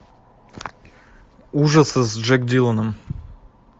ужасы с джек диланом